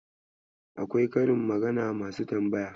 Akwai karin magana masu tambaya.